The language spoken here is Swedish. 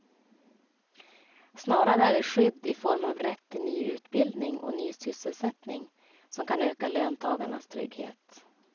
Snarare är det skydd i form av rätt till ny utbildning och ny sysselsättning som kan öka löntagarnas trygghet.